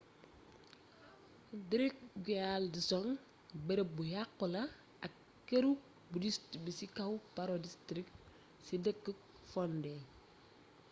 drukgyal dzong beereeb bu yaxxu la ak keeruk buddhist bi ci kaw paro district ci deekeeuk phondey